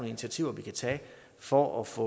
initiativer vi kan tage for at få